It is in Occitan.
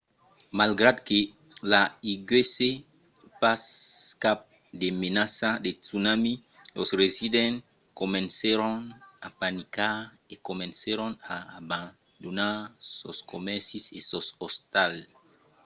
malgrat que i aguèsse pas cap de menaça de tsunami los residents comencèron a panicar e comencèron a abandonar sos comèrcis e sos ostals